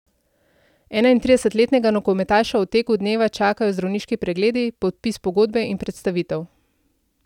Enaintridesetletnega nogometaša v teku dneva čakajo zdravniški pregledi, podpis pogodbe in predstavitev.